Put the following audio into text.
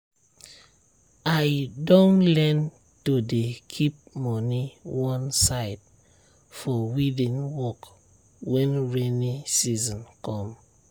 i don learn to dey keep money one side for weeding work when rainy season come.